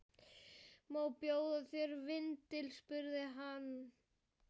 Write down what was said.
Má bjóða þér vindil? spurði hann.